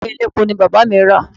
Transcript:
Moin Moin elépo ni Bàbá mi rà.